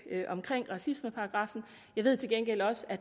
om racismeparagraffen jeg ved til gengæld også at